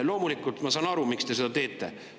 Loomulikult ma saan aru, miks te seda teete.